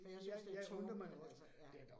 For jeg synes det tumpet altså ja